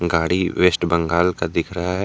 गाड़ी West Bengal का दिख रहा है।